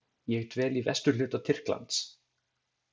Ég dvel í vesturhluta Tyrklands.